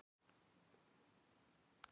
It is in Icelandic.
Þar með eru þau ís